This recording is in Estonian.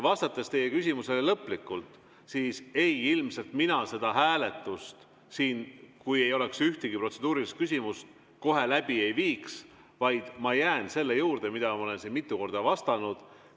Vastates teie küsimusele lõplikult: ei, ilmselt mina seda hääletust siin, kui ei oleks ühtegi protseduurilist küsimust, kohe läbi ei viiks, vaid ma jään selle juurde, nagu ma olen siin mitu korda vastanud.